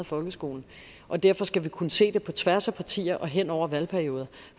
folkeskolen og derfor skal vi kunne se det på tværs af partier og hen over valgperioder